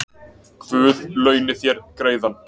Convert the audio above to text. Guð launi þér greiðann